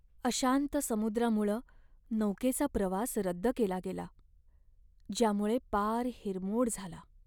अशांत समुद्रामुळं नौकेचा प्रवास रद्द केला गेला, ज्यामुळं पार हिरमोड झाला.